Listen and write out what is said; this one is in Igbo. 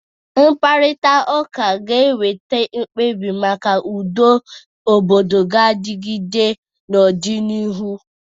Mkparịta ụka ga-eweta mkpebi maka udo obodo ga-adịgide n'ọdịnihu.